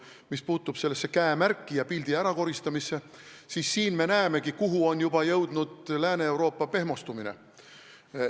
Mis puutub sellesse käemärki ja pildi ärakoristamisse, siis siin me näemegi, kui kaugele on juba jõudnud Lääne-Euroopa pehmostumine.